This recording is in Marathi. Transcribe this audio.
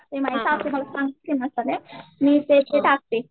ते माझी सासू मला सांगते ते मसाले तेच मी ते टाकते.